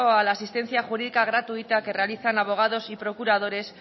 a la asistencia jurídica gratuita que realizan abogados y procuradores